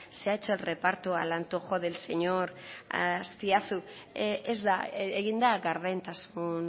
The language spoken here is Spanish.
se ha hecho el reparto al antojo del señor azpiazu ez da egin da gardentasun